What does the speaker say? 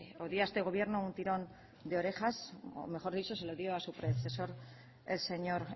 o dio a este gobierno un tirón de orejas o mejor dicho se lo dio a su predecesor el señor